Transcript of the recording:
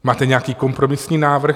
Máte nějaký kompromisní návrh?